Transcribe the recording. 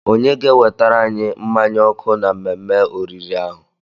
Onye ga-ewetara anyi mmanya ọkụ na mmemme oriri ahụ?